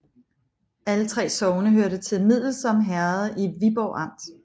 Alle 3 sogne hørte til Middelsom Herred i Viborg Amt